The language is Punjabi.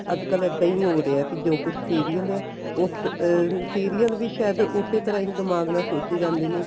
ਅੱਜਕਲ ਇੱਦਾਂ ਈ ਹੋ ਰਿਹਾ ਜੋ ਕੁੱਝ serial ਉਸ ਅਹ serial ਵੀ ਸਾਇਦ ਉਸੇ ਤਰ੍ਹਾਂ ਹੀ ਦਿਮਾਗ ਨਾਲ ਸੋਚੀ ਜਾਂਦੇ ਨੇ